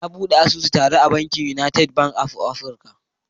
Na bude sabon asusu tare da bankin United Bank of Africa